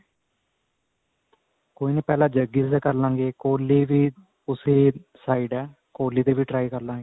ਕੋਈ ਨੀ ਪਹਿਲਾਂ ਜੱਗੀ ਦੇ ਕਰ ਲਵਾਂਗੇ ਕੋਹਲੀ ਵੀ ਉਸੀ side ਹੈ ਕੋਹਲੀ ਦੇ ਵੀ try ਕਰ ਲਵਾਂਗੇ